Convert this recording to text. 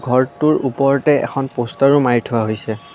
ঘৰটোৰ ওপৰতে এখন পষ্টাৰো মাৰি থোৱা হৈছে।